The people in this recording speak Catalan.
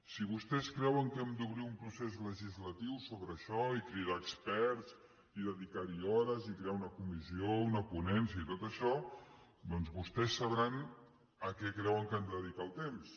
si vostès creuen que hem d’obrir un procés legislatiu sobre això i cridar experts i dedicar hi hores i crear una comissió una ponència i tot això doncs vostès sabran a què creuen que han de dedicar el temps